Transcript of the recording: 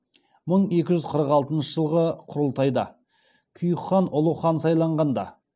мың екі жүз қырық алтыншы жылғы құрылтайда күйік хан ұлы хан сайланғанда